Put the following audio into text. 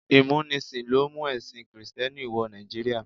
Ìmúnisìn ló mú ẹ̀sìn kìrìtẹ́nì wọ Nàìjíríà.